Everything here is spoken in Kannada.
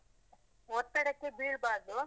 ಒತ್ತಡಕ್ಕೆ ಬೀಳ್ಬಾರ್ದು.